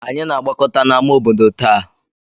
Anyị na-agbakọta n'ámá obodo taa.